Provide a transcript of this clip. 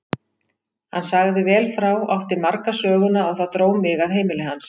Hann sagði vel frá, átti marga söguna og það dró mig að heimili hans.